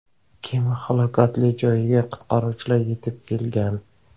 Kema halokati joyiga qutqaruvchilar yetib kelgan.